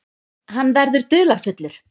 Hann verður dularfullur.